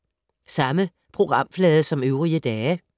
Samme programflade som øvrige dage